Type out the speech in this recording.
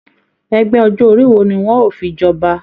Ẹgbẹ ọjọ orí wò ní wọn o fí jọba?